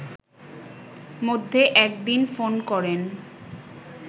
মধ্যে এক দিন ফোন করেন